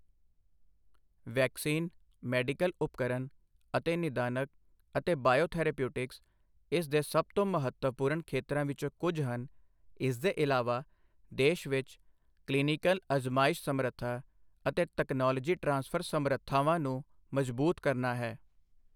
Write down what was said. Vaccine, medical ਉਪਕਰਨ ਅਤੇ ਨਿਦਾਨਕ ਅਤੇ ਬਾਇਓਥੈਰੇਪਿਊਟਿਕਸ ਇਸ ਦੇ ਸਭ ਤੋਂ ਮਹੱਤਵਪੂਰਨ ਖੇਤਰਾਂ ਵਿੱਚੋਂ ਕੁਝ ਹਨ, ਇਸਦੇ ਇਲਾਵਾ ਦੇਸ਼ ਵਿੱਚ ਕਲੀਨਿਕਲ ਅਜ਼ਮਾਇਸ਼ ਸਮਰੱਥਾ ਅਤੇ ਤਕਨਾਲੋਜੀ ਟਰਾਂਸਫਰ ਸਮਰੱਥਾਵਾਂ ਨੂੰ ਮਜ਼ਬੂਤ ਕਰਨਾ ਹੈ।